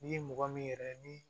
N'i ye mɔgɔ min yɛrɛ ye ni